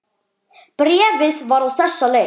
Bréfið var á þessa leið